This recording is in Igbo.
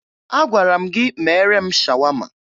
Agwara m gị meere m shawama!